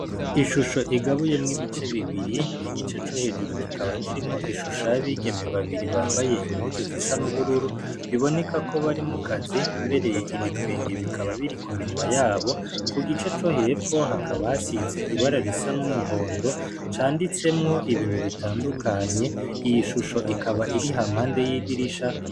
Ishusho igabuyemwo ibice bibiri, igice co hejuru kikaba kirimwo ishusho y'abigeme babiri bambaye impuzu zisa n'ubururu, biboneka ko bari mu kazi, mbere ibitwenge bikaba biri ku minwa yabo, ku gice co hepfo hakaba hasize ibara risa n'umuhondo, canditsemwo ibintu bitandukanye, iyi shusho ikaba iri hampande y'idirisha.